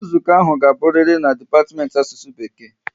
Nzukọ ahụ ga aburiri n'dipatimenti Asusu Bekee